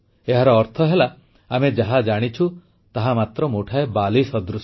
ଏହାର ଅର୍ଥ ହେଲା ଆମେ ଯାହା ଜାଣିଛୁ ତାହା ମାତ୍ର ମୁଠାଏ ବାଲି ସଦୃଶ